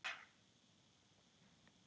Enginn á hana.